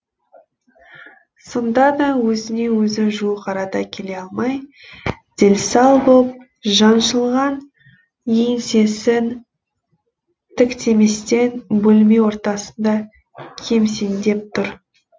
сонда да өзіне өзі жуық арада келе алмай дел сал боп жаншылған еңсесін тіктеместен бөлме ортасында кемсеңдеп тұр